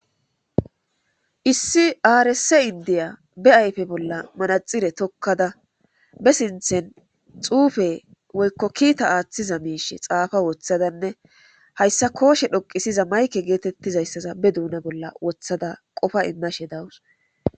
Issi aarse indiya be ayfe bolla manaxire tokkada be sinthen xuufe woykko kiita aaththiza miishe xaafa woththadanne hayssa kooshe dhoqisiza mayke geetettizayssaza be duuna bolla wothada qofa immashe dawus.